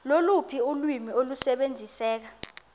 loluphi ulwimi olusebenziseka